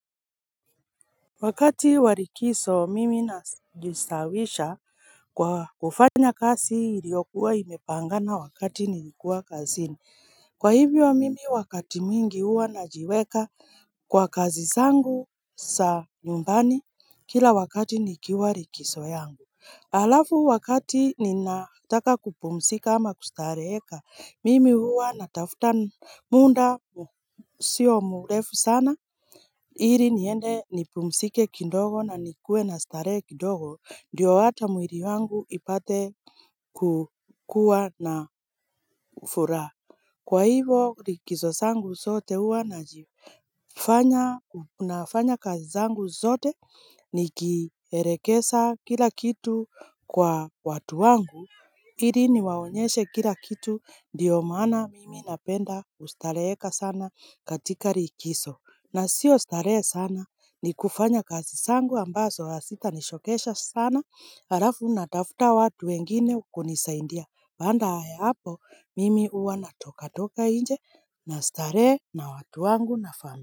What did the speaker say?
Wakati wa likizo mimi najisawisha kwa kufanya kazi iliokuwa imepangana wakati nilikuwa kazini Kwa hivyo mimi wakati mwingi huwa najiweka kwa kazi zangu za nyumbani kila wakati nikiwa likizo yangu Halafu wakati ninataka kupumzika ama kustareheka mimi huwa natafuta muda sio mrefu sana ili niende nipumzike kidogo na nikuwe na starehe kidogo ndiyo hata mwili wangu ipate kukuwa na furaha Kwa hivyo likizo zangu zote huwa najifanya nafanya kazi zangu zote nikielekeza kila kitu kwa watu wangu ili niwaonyeshe kila kitu ndiyo maana mimi napenda kustareheka sana katika likizo na sio starehe sana ni kufanya kazi zangu ambazo hazitanichokesha sana alafu natafuta watu wengine kunisaindia baada ya hapo mimi huwa natoka toka nje na starehe na watu wangu na fam.